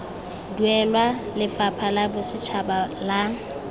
duelwa lefapha la bosetšhaba la